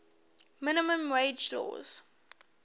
minimum wage laws